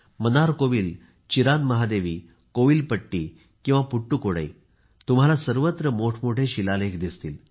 Mannarkovil Cheranmahadevi Kovilpatti किंवा पुडुकोट्टई असो तुम्हाला सर्वत्र मोठेमोठे शिलालेख दिसतील